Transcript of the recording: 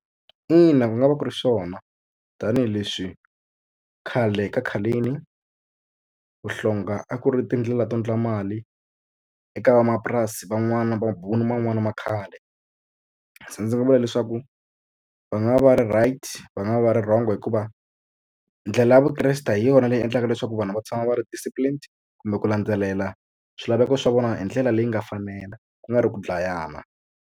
Ina ku nga va ku ri swona tanihileswi khale ka khaleni vuhlonga a ku ri tindlela to endla mali eka vamapurasi van'wana mabuni man'wani ma khale se ndzi nga vula leswaku va nga va va ri right va nga va va ri wrong hikuva ndlela ya vukreste hi yona leyi endlaka leswaku vanhu va tshama va ri disciplined kumbe ku landzelela swilaveko swa vona hi ndlela leyi nga fanela ku nga ri ku dlayana.